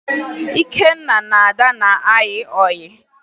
Ikenna na Ada na-ayị ọyị